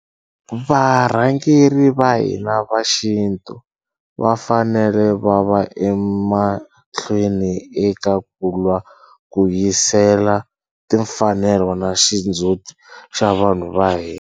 Va rhangeri va hina va xintu va fanele va va emahlweni eka ku lwa ku vuyisela timfanelo na xindzhuti xa vanhu va hina.